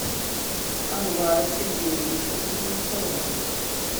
анвара сергеевича кузнецова